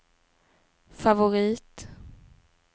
favorit